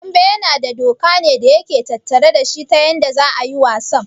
Dambe yana da doka ne da yake tattare dashi ta yanda za'a yi wasan?